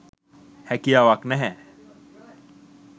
හැකියාවක් නැහැ.